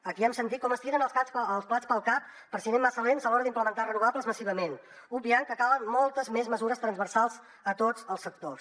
aquí hem sentit com es tiren els plats pel cap per si anem massa lents a l’hora d’implementar renovables massivament obviant que calen moltes més mesures transversals a tots els sectors